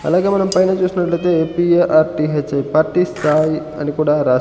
అలాగే మనం పైన చూసినట్లయితే పి_ఎ_ఆర్_టి_హెచ్_ఐ పార్టీ స్థాయి అని కూడా రాసి--